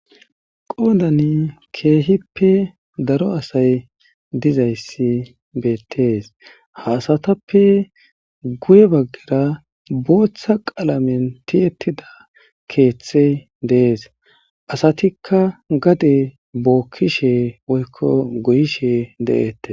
qoodan keehippe daro asay dizayssi beettees haasatappe guye baggira booththa qalamen tiyettida keeththey dees asatikka gade bookkishe woykko goyishe de7eette